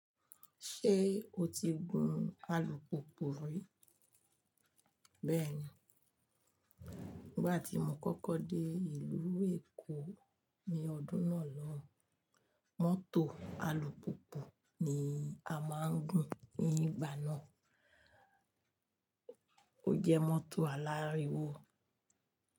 Ṣé o ti gun alùpùpù rí? Bẹ́ẹ̀ni, nígbà tí mo kọ́kọ́ dé ìlú Èkó ní ọdún náà lọun mọ́tò alùpùpù ni a máa ń gun ní ìgbà náà. Ó jẹ́ mọ́tò aláriwo.